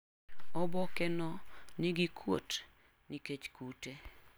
Oboke no nigi kwuot nikech kute.